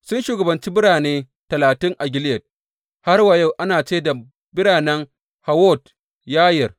Sun shugabanci birane talatin a Gileyad, har wa yau ana ce da biranen Hawwot Yayir.